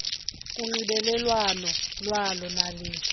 kunxibelelwano lwalo naliphi